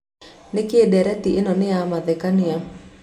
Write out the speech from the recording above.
nĩkĩ ndereti ĩno nĩ ya mathekania